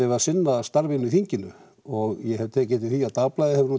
við að sinna starfinu á þinginu og ég hef tekið eftir því að dagblaðið hefur